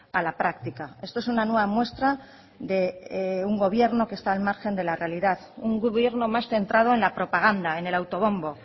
a la práctica esto es una nueva muestra de un gobierno que está al margen de la realidad un gobierno más centrado en la propaganda en el autobombo